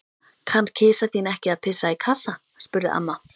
Kann kisa þín ekki að pissa í kassa? spurði amma.